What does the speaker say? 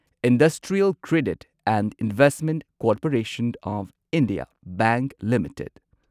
industrial credit and investment corporation of India bank limited